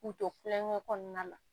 K'u to kulonkɛ kɔnɔna la